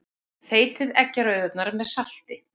Þeytið eggjarauður með salti.